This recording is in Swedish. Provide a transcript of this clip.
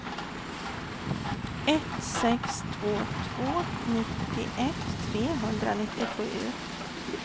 ett sex två två nittioett trehundranittiosju